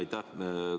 Aitäh!